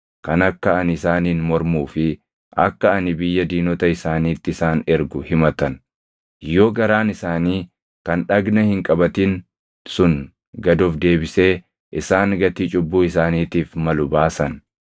kan akka ani isaaniin mormuu fi akka ani biyya diinota isaaniitti isaan ergu himatan, yoo garaan isaanii kan dhagna hin qabatin sun gad of deebisee isaan gatii cubbuu isaaniitiif malu baasan,